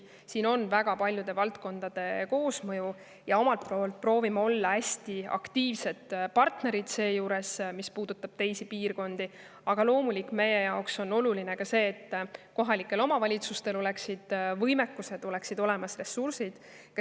Siin on väga paljude valdkondade koosmõju ja omalt poolt me proovime olla hästi aktiivsed partnerid, mis puudutab piirkondi, aga loomulikult on meie jaoks oluline ka see, et kohalikel omavalitsustel oleks olemas võimekus, oleks olemas ressursid.